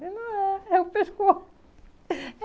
Não é. É o pescoço.